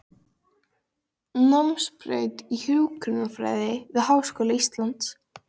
Námsbraut í hjúkrunarfræði við Háskóla Íslands.